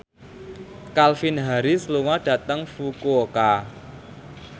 Calvin Harris lunga dhateng Fukuoka